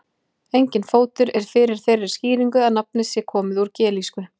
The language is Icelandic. Enginn fótur er fyrir þeirri skýringu að nafnið sé komið úr gelísku.